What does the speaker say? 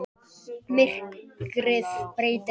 Myrkrið breytir öllu.